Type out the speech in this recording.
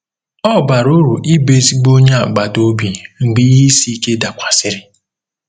Ọ bara uru ịbụ ezigbo onye agbata obi mgbe ihe isi ike dakwasịrị.